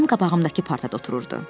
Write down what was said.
Mənim qabağımdakı partada otururdu.